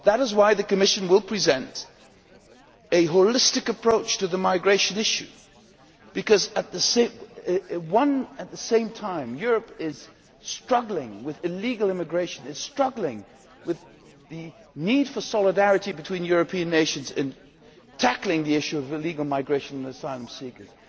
That is why the Commission will present a holistic approach to the migration issue, because at the same time Europe is struggling with illegal immigration, it is struggling with the need for solidarity between European nations in tackling the issue of illegal migration and asylum seekers.